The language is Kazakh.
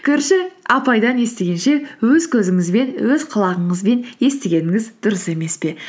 көрші апайдан естігенше өз көзіңізбен өз құлағыңызбен естігеніңіз дұрыс емес пе